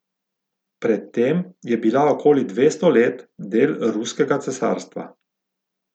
Pred tem je bila okoli dvesto let del ruskega cesarstva.